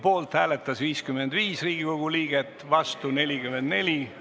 Poolt hääletas 55 Riigikogu liiget, vastu 44.